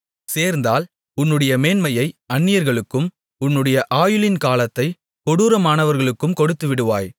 சேர்ந்தால் உன்னுடைய மேன்மையை அந்நியர்களுக்கும் உன்னுடைய ஆயுளின் காலத்தைக் கொடூரமானவர்களுக்கும் கொடுத்துவிடுவாய்